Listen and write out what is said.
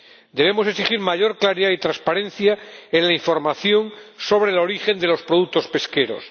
Debemos exigir mayor claridad y transparencia en la información sobre el origen de los productos pesqueros.